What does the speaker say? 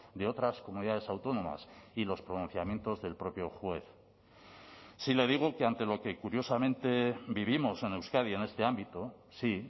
de otras comunidades autónomas y los pronunciamientos del propio juez si le digo que ante lo que curiosamente vivimos en euskadi en este ámbito sí